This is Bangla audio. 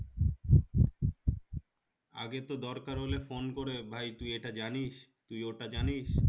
আগে তো দরকার হলে phone করে ভাই তুই ইটা জানিস তুই ওটা জানিস